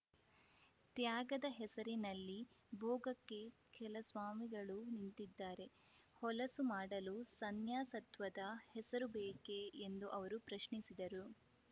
ತ್ಯಾಗದ ಹೆಸರಿನಲ್ಲಿ ಭೋಗಕ್ಕೆ ಕೆಲ ಸ್ವಾಮಿಗಳು ನಿಂತಿದ್ದಾರೆ ಹೊಲಸು ಮಾಡಲು ಸನ್ಯಾಸತ್ವದ ಹೆಸರು ಬೇಕೆ ಎಂದು ಅವರು ಪ್ರಶ್ನಿಸಿದರು